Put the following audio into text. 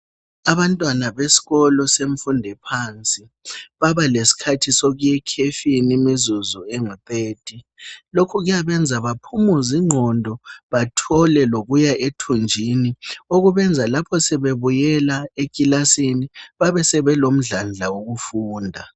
Abantwana besikolo semfundo ephansi , baba leskhathi sokuya ekhefwni imizuzu engu 30 , lokhu kuyabenza baphumuze ingqondo bathole lokuya ethunjini , okubenza lalapho sebebuyela eklasini babe sebelomdladla wokufunda